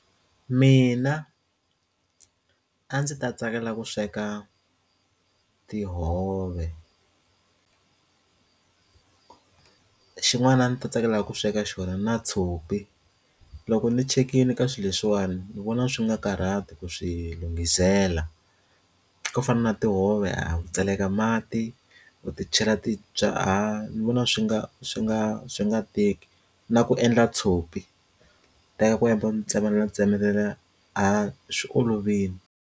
Mina a ndzi ta tsakela ku sweka tihove ku xin'wana a ndzi ta tsakela ku sweka xona na tshopi loko ndzi chekini ka swilo leswiwani ndzi vona swi nga karhati ku swi lungisela swo fana na tihove a ku tseleka mati ku titshega titwa a ndzi vona swi nga swi nga swi nga teki na ku endla tshopi teka kwembe tshemba ndzi tsema na tsemelela a swi olovile.